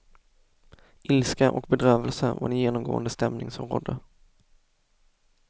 Ilska och bedrövelse var den genomgående stämning som rådde.